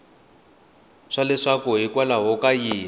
swa leswaku hikwalaho ka yini